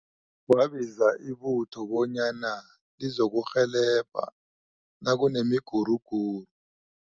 Kwabizwa ibutho bonyana lizokurhelebha nakunemiguruguru.